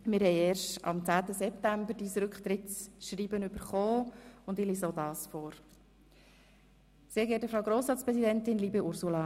Wir haben dein Rücktrittschreiben erst am 10. September erhalten, und ich lese auch dieses vor: «Sehr geehrte Frau Grossratspräsidentin, liebe Ursula.